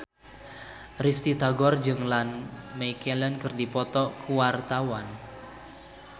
Risty Tagor jeung Ian McKellen keur dipoto ku wartawan